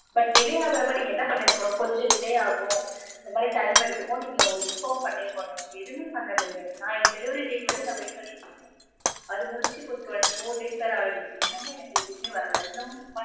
but delay ஆகுறப்ப நீங்க என்ன பண்ணிருக்கனும் கொஞ்சம் delay ஆகும் இந்த மாதிரி time எடுத்துக்கும் நீங்க ஒரு inform பன்ணிருக்கனும் எதுவுமே பண்ணலயே நான் என் delievery date வரயும் நான் wait பன்ணிட்டுருக்கன் அது முடிச்சு இப்ப four days வர ஆகிடுச்சு இன்னுமே என்னக்கு ஏதுமே வரல இன்னமு